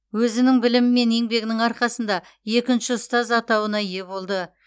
өзінің білімі мен еңбегінің арқасында екінші ұстаз атауына ие болды